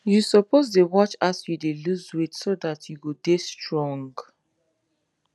you suppose de watch as you de lose weight so that you go dey strong